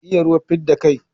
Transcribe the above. Iya ruwa fidda kai